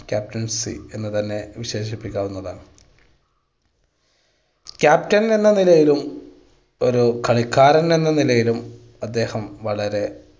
captaincy എന്ന് തന്നെ വിശേഷിപ്പിക്കാവുന്നതാണ്. captain എന്ന നിലയിലും ഒരു കളിക്കാരൻ എന്ന നിലയിലും അദ്ദേഹം വളരെ